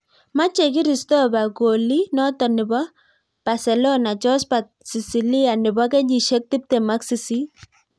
Mache kiristopha kolii notok neboo paselona jospat sisilia nebo kenyisiek tiptem ak sisiit